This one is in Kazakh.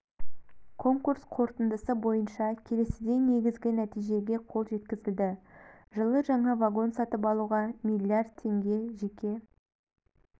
конкурс қорытындысы бойынша келесідей негізгі нәтижеге қол жеткізілді жылы жаңа вагон сатып алуға миллиард теңге жеке